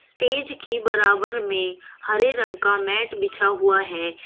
Stage के बराबर में हरे रंग का मैट बिछा हुआ है।